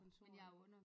Kontor eller